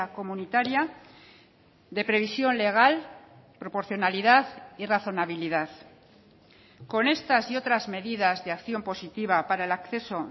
comunitaria de previsión legal proporcionalidad y razonabilidad con estas y otras medidas de acción positiva para el acceso